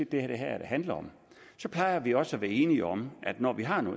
det her handler om så plejer vi også være enige om at når vi har